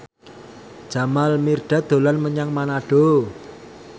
Jamal Mirdad dolan menyang Manado